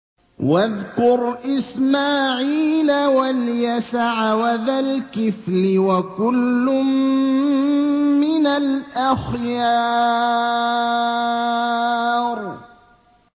وَاذْكُرْ إِسْمَاعِيلَ وَالْيَسَعَ وَذَا الْكِفْلِ ۖ وَكُلٌّ مِّنَ الْأَخْيَارِ